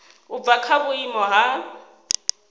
u bva kha vhuimo ha